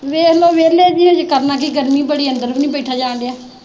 ਵੇਖਲੋ ਵੇਹਲੇ ਜੀ ਹਜੇ ਕਰਨਾ ਕੀ ਗਰਮੀ ਬੜੀ ਅੰਦਰ ਵੀ ਨਹੀਂ ਬੈਠਾ ਜਾਣਦਿਆ।